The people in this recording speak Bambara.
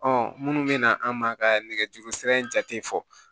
minnu bɛ na an ma ka nɛgɛjuru sira in jate fɔ